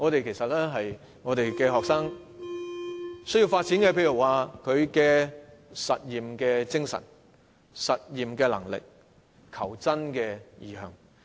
其實學生要發展的是實驗精神、實驗能力和求真精神等。